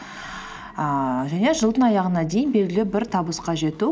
ііі және жылдың аяғына дейін белгілі бір табысқа жету